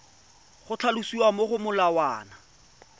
go tlhalosiwa mo go molawana